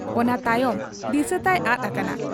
ᱚᱱᱟ ᱛᱟᱭᱚᱢ ᱫᱤᱥᱟᱹ ᱛᱟᱭ ᱟᱫ ᱟᱠᱟᱱᱟ ᱾